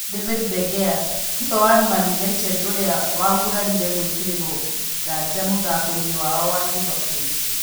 David de Gea: Kipa wa Man united ũrĩa wagurarire gwĩkĩrĩrwo nganja mũthako inĩ wao na Liverpool